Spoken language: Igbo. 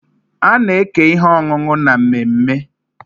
A na-eke ihe ọṅụṅụ na mmemme.